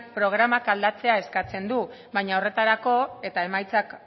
programak aldatzea eskatzen du baina horretarako eta